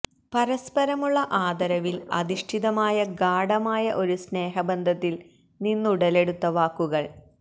പരസ്പരമുള്ള ആദരവില് അധിഷ്ഠിതമായ ഗാഢമായ ഒരു സ്നേഹബന്ധത്തില് നിന്നുടലെടുത്ത വാക്കുകള്